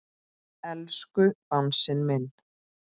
Elsku Bangsi minn.